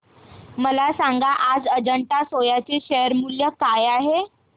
मला सांगा आज अजंता सोया चे शेअर मूल्य काय आहे